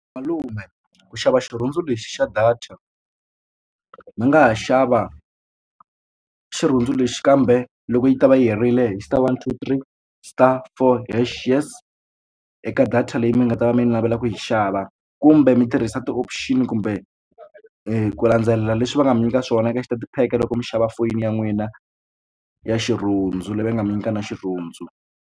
Malume ku xava xirhundzu lexi xa data mi nga ha xava xirhundzu lexi kambe loko yi ta va yi herile hi star one two three stars for hash yes eka data leyi mi nga ta va mi navela ku yi xava kumbe mi tirhisa ti-option kumbe ku landzelela leswi va nga mi nyika swona eka xitatapheke loko mi xava foyini ya n'wina ya xirhundzu leyi va nga mi nyika na xirhundzu.